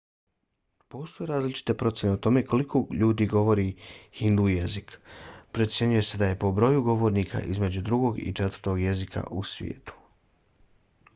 postoje različite procjene o tome koliko ljudi govori hindu jezik. procjenjuje se da je po broju govornika između drugog i četvrtog jezika u svijetu